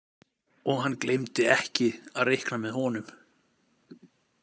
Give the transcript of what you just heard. Og hann gleymdi ekki að reikna með honum.